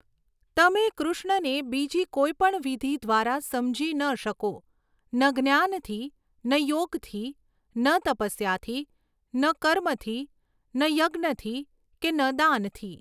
તમે કૃષ્ણને બીજી કોઈ પણ વિધિ દ્વારા સમજી ન શકો, ન જ્ઞાનથી, ન યોગથી, ન તપસ્યાથી, ન કર્મથી, ન યજ્ઞથી, કે ન દાનથી.